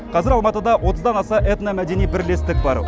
қазір алматыда отыздан аса этномәдени бірлестік бар